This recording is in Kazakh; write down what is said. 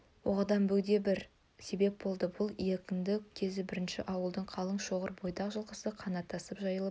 оған бөгде бір себеп болды бұл екінді кезі бірнеше ауылдың қалың шоғыр бойдақ жылқысы қанаттасып жайылып